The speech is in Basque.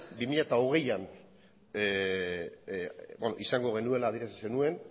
bi mila hogeian izango genuela adierazi zenuen